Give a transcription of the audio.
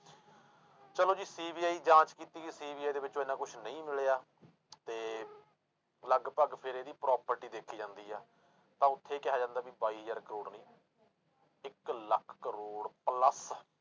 ਚਲੋ ਜੀ CBI ਜਾਂਚ ਕੀਤੀ ਗਈ CBI ਦੇ ਵਿੱਚੋਂ ਇੰਨਾ ਕੁਛ ਨਹੀਂ ਮਿਲਿਆ ਤੇ ਲਗਪਗ ਫਿਰ ਇਹਦੀ property ਦੇਖੀ ਜਾਂਦੀ ਆ, ਤਾਂ ਉੱਥੇ ਕਿਹਾ ਜਾਂਦਾ ਵੀ ਬਾਈ ਹਜ਼ਾਰ ਕਰੌੜ ਨੀ ਇੱਕ ਲੱਖ ਕਰੌੜ plus